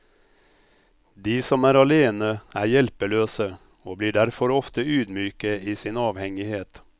De som er alene, er hjelpeløse, og blir derfor ofte ydmyke i sin avhengighet.